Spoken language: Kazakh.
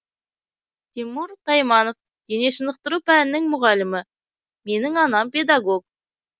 тимур тайманов дене шынықтыру пәнінің мұғалімі менің анам педагог